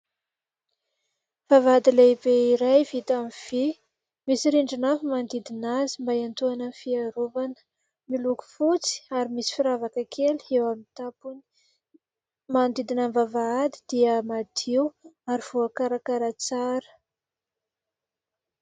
Vavahady lehibe iray vita amin'ny vy, misy rindrina avo manodidina azy mba hiantoana ny fiarovana, miloko fotsy ary misy firavaka kely eo amin'ny tampony. Manodidina ny vavahady dia madio ary voakarakara tsara.